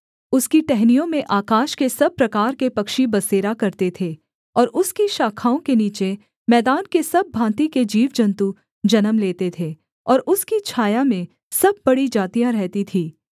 उसकी टहनियों में आकाश के सब प्रकार के पक्षी बसेरा करते थे और उसकी शाखाओं के नीचे मैदान के सब भाँति के जीवजन्तु जन्म लेते थे और उसकी छाया में सब बड़ी जातियाँ रहती थीं